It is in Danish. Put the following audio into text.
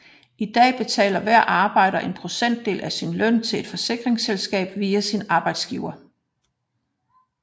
I denne betaler hver arbejder en procentdel af sin løn til et forsikringsselskab via sin arbejdsgiver